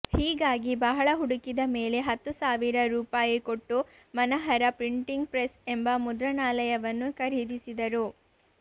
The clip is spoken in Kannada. ಹೀಗಾಗಿ ಬಹಳ ಹುಡುಕಿದ ಮೇಲೆ ಹತ್ತು ಸಾವಿರ ರೂಪಾಯಿ ಕೊಟ್ಟು ಮನಹರ ಪ್ರಿಂಟಿಂಗ್ ಪ್ರೆಸ್ ಎಂಬ ಮುದ್ರಣಾಲಯವನ್ನು ಖರೀದಿಸಿದರು